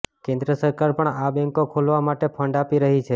કેંદ્ર સરકાર પણ આ બેંકો ખોલવા માટે ફંડ આપી રહી છે